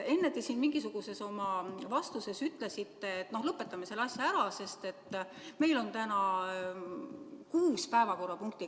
Enne te siin oma mingisuguses vastuses ütlesite, et noh, lõpetame selle asja ära, sest meil on täna kuus päevakorrapunkti.